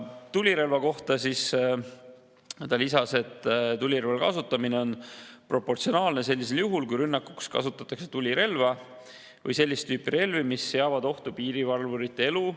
Tulirelva kohta ta lisas, et tulirelva kasutamine on proportsionaalne sellisel juhul, kui rünnakuks kasutatakse tulirelva või sellist tüüpi relvi, mis seavad ohtu piirivalvurite elu.